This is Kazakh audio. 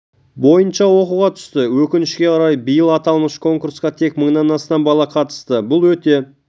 бойынша оқуға түсті өкінішке қарай биыл аталмыш конкурсқа тек мыңнан астам бала қатысты бұл өте